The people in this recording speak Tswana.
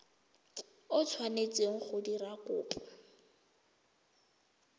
o tshwanetseng go dira kopo